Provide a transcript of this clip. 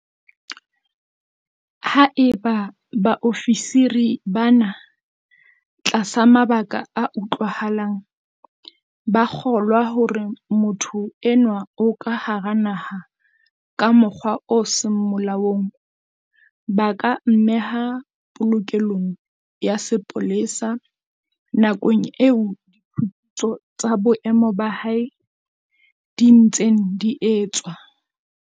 Haeba baofisiri bana, tlasa mabaka a utlwahalang, ba kgolwa hore motho enwa o ka hara naha ka mokgwa o seng molaong, ba ka mmeha polokelong ya sepolesa nakong eo diphuputso tsa boemo ba hae di ntseng di etswa.